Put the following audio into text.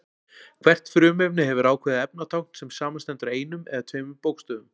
Hvert frumefni hefur ákveðið efnatákn sem samanstendur af einum eða tveimur bókstöfum.